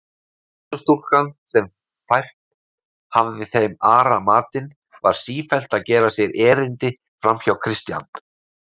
Vinnustúlkan, sem fært hafði þeim Ara matinn, var sífellt að gera sér erindi framhjá Christian.